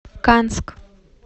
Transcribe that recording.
канск